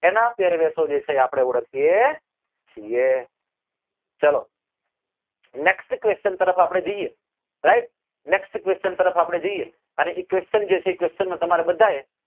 એના પેરવેશો જે છે એ આપડે ઓળખીએ છીએ ચાલ next question તરફ આપડે જઈએ right next question તરફ આપડે જઈએ અને એ question જે છે એ question નો તમારે બધા એ